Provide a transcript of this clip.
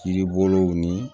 Kiribolow ni